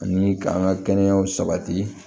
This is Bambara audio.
Ani k'an ka kɛnɛya sabati